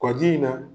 Kɔji in na